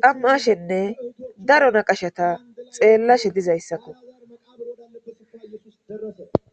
xamma'ashenne daro naqashata xeellashe dizayssakko